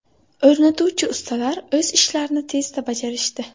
O‘rnatuvchi ustalar o‘z ishlarini tezda bajarishdi.